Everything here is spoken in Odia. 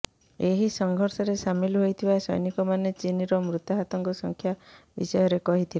ଏହି ସଂଘର୍ଷରେ ସାମିଲ ହୋଇଥିବା ସୈନିକମାନେ ଚୀନର ମୃତାହତଙ୍କ ସଂଖ୍ୟା ବିଷୟରେ କହିଥିଲେ